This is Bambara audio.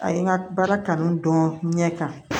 A ye n ka baara kanu don ɲɛ kan